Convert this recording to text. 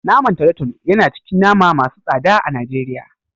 Naman tolotolo yana cikin nama masu tsada a Najeriya.